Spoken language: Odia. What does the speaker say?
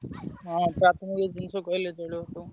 ହଁ ଏଇ ଜିନିଷ କହିଲେ ଚଳିବ